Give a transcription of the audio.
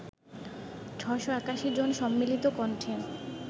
৬৮১ জন সম্মিলিত কণ্ঠে